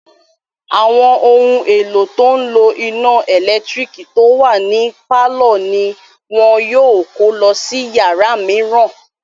Àwọn ohun èlò tó n lo iná ẹ̀lẹ́tírík tó wà ní pálọ̀ ní wọn yóò kó lọ sí yàrá mìíràn